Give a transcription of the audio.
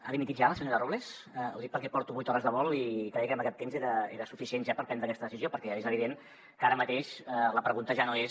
ha dimitit ja la senyora robles ho dic perquè porto vuit hores de vol i creia que amb aquest temps era suficient ja per prendre aquesta decisió perquè és evident que ara mateix la pregunta ja no és